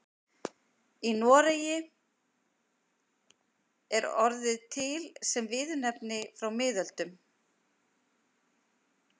Í Noregi er orðið til sem viðurnefni frá miðöldum.